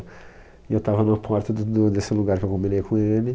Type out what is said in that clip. E eu estava na porta do do desse lugar que eu combinei com ele.